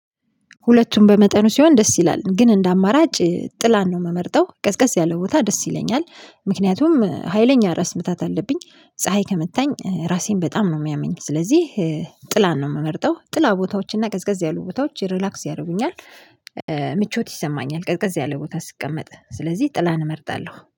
ሁለቱም በመጠኑ ሲሆን ደስ ይላል ግን እንደ አማራጭ ጥላን ነው የምመርጠው ቀስ ቀስ ያለው ቦታ ደስ ይለኛል። ምክንያቱም ሀይለኛ ራስ ምታት አለብኝ። ፀሀይ ከመታኝ ራሴን በጣም ነው የሚያመኝ። ስለዚህ ጥላን ነው የምመርጠው ጥላ ቦታዎችና ቀዝቀዝ ያሉ ቦታዎች ሪላክስ ያደርጉኛል። ምቾት ይሰማኛል ቀዝቀዝ ያለ ቦታ ስቀመጥ ስለዚህ ጥላን እመርጣለሁ